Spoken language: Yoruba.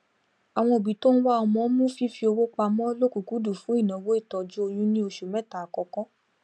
àwọn òbí tó ń wá ọmọ mú fífi owópamọ lọkùkúndùn fún ìnáwó ìtọjú oyún ni oṣù mẹta àkọkọ